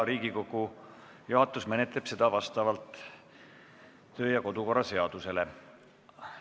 Riigikogu juhatus menetleb seda töö- ja kodukorra seaduse kohaselt.